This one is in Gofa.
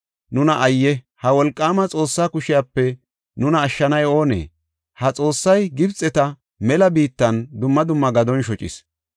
Nuna ayye! ha wolqaama Xoossaa kushepe nuna ashshanay oonee? Ha Xoossay Gibxeta mela biittan dumma dumma gadon shocis.